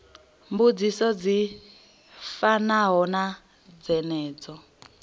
mbudziso dzi fanaho na dzenedzo